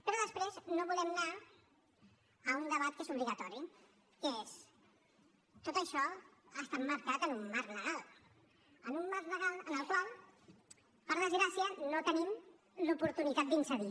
però després no volem anar a un debat que és obligatori que és tot això ha estat marcat en un marc legal en un marc legal en el qual per desgràcia no tenim l’oportunitat d’incidir